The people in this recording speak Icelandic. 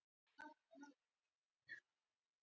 Allt sem við getum.